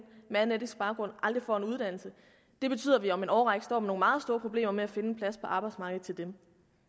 med anden etnisk baggrund aldrig får en uddannelse det betyder at vi om en årrække står med nogle meget store problemer med at finde en plads på arbejdsmarkedet til dem